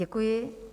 Děkuji.